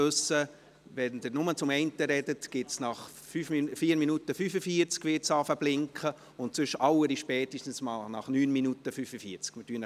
Wenn Sie nur zu einem sprechen, wissen wir, dass es nach 4 Minuten 45 Sekunden zu blinken beginnt, andernfalls allerspätestens nach 9 Minuten 45 Sekunden.